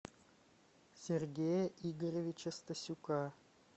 сергея игоревича стасюка